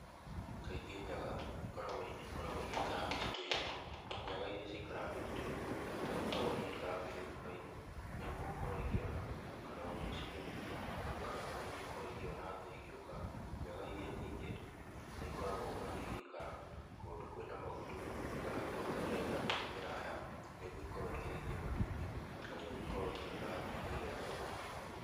Kaingĩ nyaga ikoragwo, ikoragwo igĩikara mĩtitũ-inĩ. Nyaga iria cikaraga mĩtitũ-inĩ nĩ ikoragwo igĩikara ngĩrĩrĩba-inĩ nĩgwo gũkorwo ikĩona kana gũcimenyithia kana nĩgwo ikorwo ikĩona thũ igĩũka. Nyaga iria nyingĩ nĩ ikoragwo bado igĩikara kũndũ kwĩna magutu, kana kũndũ gũtarĩ na mĩtĩ mĩraya nĩgwo ikorwo ikĩrekia matumbĩ, na nĩgwo ikorwo ikĩona thũ iria irenda gũka.